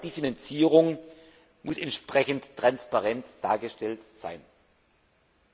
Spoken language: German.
Auch die Finanzierung muss entsprechend transparent dargestellt werden.